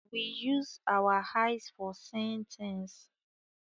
We use our eyes for seeing things